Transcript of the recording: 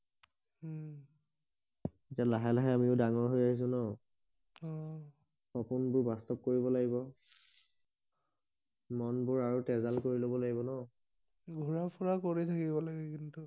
এতিয়া লাহে লাহে আমিও ডাঙৰ হৈ আহিছো ন অহ সপোন বোৰ বাস্তব কৰিব লাগিব মন বোৰ আৰু তেজাল কৰি লব লাগিব ন ঘূৰা ফুৰা কৰি থাকিব লাগে কিন্তু